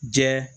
Jɛ